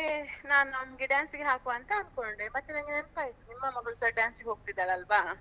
ಹಾಗೆ ನಾನು ಅವನಿಗೆ dance ಗೆ ಹಾಕುವ ಅಂತ ಅನ್ಕೊಂಡೆ ಮತ್ತೆ ನನ್ಗೆ ನೆನಪಾಯ್ತು ನಿಮ್ಮ ಮಗಳುಸ dance ಗೆ ಹೋಗ್ತಿದ್ದಾಳಲ್ವಾ.